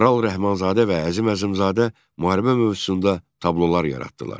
Maral Rəhmanzadə və Əzim Əzimzadə müharibə mövzusunda tablolar yaratdılar.